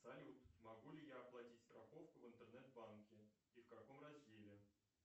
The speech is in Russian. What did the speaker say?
салют могу ли я оплатить страховку в интернет банке и в каком разделе